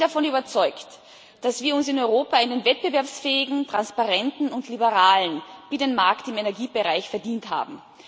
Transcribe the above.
Ich bin davon überzeugt, dass wir uns in Europa einen wettbewerbsfähigen, transparenten und liberalen Binnenmarkt im Energiebereich verdient haben.